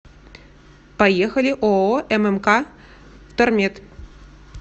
поехали ооо ммк втормет